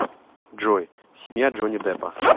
джой семья джонни деппа